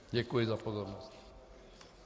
Děkuji za pozornost.